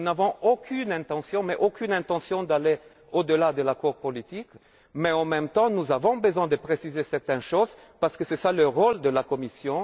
Nous n'avons aucune intention d'aller au delà de cet accord politique, mais en même temps, nous avons besoin de préciser certaines choses, parce que c'est là le rôle de la Commission.